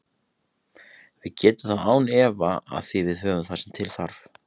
Við getum það án efa því við höfum það sem til þarf.